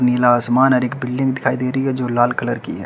नीला आसमान और एक बिल्डिंग दिखाई दे रही है जो लाल कलर की है।